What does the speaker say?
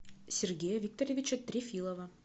сергея викторовича трефилова